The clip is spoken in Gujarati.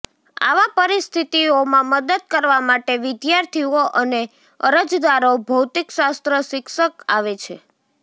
આવા પરિસ્થિતિઓમાં મદદ કરવા માટે વિદ્યાર્થીઓ અને અરજદારો ભૌતિકશાસ્ત્ર શિક્ષક આવે છે